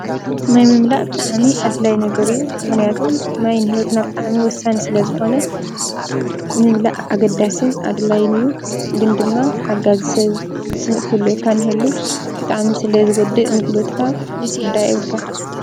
ማይ ምምላአ ብጣዕሚ ኣድላይ ነገር እዩ ምክንያቱ ማይ ንሂዎትና ዎሳኒ ስለ ዝኮነማይ ምምላእ ኣገዳስን ኣድላይ እዩ፡፡ ግን ድማ ሓጋዚ ዝትክእ ክህልዎካ እኒሀሉ ብጣዕሚ ስለ ዝጎድእ ንሂዎትካ ክትጉዳእ የብልካን ፡፡